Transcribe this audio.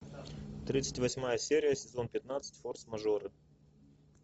тридцать восьмая серия сезон пятнадцать форс мажоры